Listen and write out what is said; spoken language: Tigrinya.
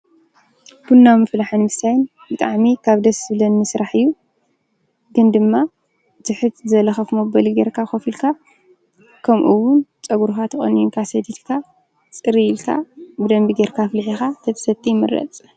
ቤት ምግብን መስተን ሰባት ንምብላዕን ንምስታይን ዝኸዱ ቦታታት እዮም። ኣብኡ ዝተፈላለዩ ምግብን መስተንን ይቐርቡ። እዞም ቦታታት ሰባት ክተሓላለፉን ማሕበራዊ ግንኙነት ንምግንባርን ይሕግዙ።